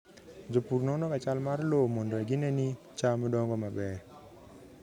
Jopur nonoga chal mar lowo mondo gine ni cham dongo maber.